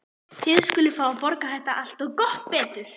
Þið skuluð fá að borga þetta allt. og gott betur!